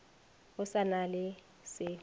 go sa na le se